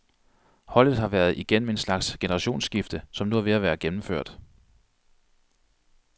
Holdet har været igennem en slags generationsskifte, som nu er ved at være gennemført.